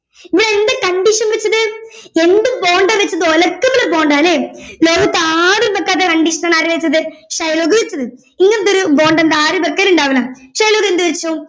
എന്താ condition വച്ചത് എന്ത് bond ആ വച്ചത് ഒലക്കത്തിലെ bond ആ ല്ലെ ലോകത്താരും വെക്കാത്ത condition ആണ് ആര് വച്ചത് ഷൈലോക്ക് വച്ചത് ഇങ്ങനൊത്തൊരു bond എന്താ ആരും വെക്കലിണ്ടവുല്ല ഷൈലോക്ക് എന്ത് വച്ചു